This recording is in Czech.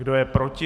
Kdo je proti?